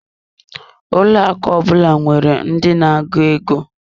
Ụlọ akụ ọ bụla nwere ndi na-agụ ego.